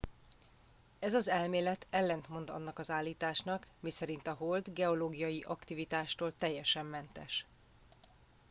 ez az elmélet ellentmond annak az állításnak miszerint a hold geológiai aktivitástól teljesen mentes